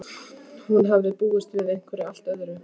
Hún hafði búist við einhverju allt öðru.